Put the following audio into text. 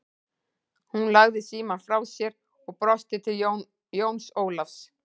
Hún lagði síamm frá sér og brosti til Jóns Ólafs.